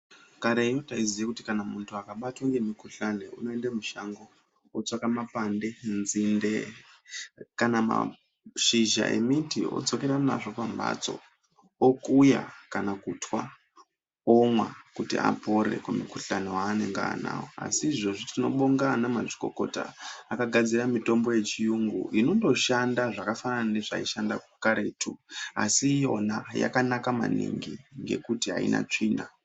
Kareni taiziya kuti mundu akabatwe kumukhuhlani unoende mushango otsvaka mapande, nzinde kana mashizha emiti odzokera nazvo pambatso. Okuya kana kutwa omwa kuti apone kumukhuhlani waanenge anawo, asi izvozvi tinobonga ana mazvikokota akagadzira mitombo yechiyungu inoshanda zvakafanana nezvaishanda karetu asi yona yakanaka maningi ngekuti aina tsvina.